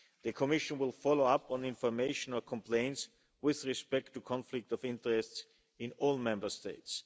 The Commission will follow up on information or complaints with respect to conflicts of interest in all Member States.